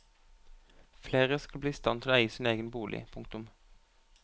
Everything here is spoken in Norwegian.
Flere skal bli i stand til å eie sin egen bolig. punktum